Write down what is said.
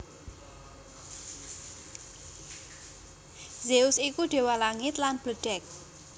Zeus iku déwa langit lan bledhèg